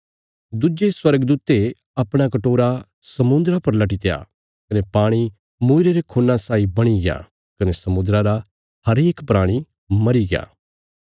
दुज्जे स्वर्गदूते अपणा कटोरा समुद्रा पर लट्टित्या कने पाणी मूईरे रे खून्ना साई बणीग्या कने समुद्रा रा हरेक प्राणी मरीग्या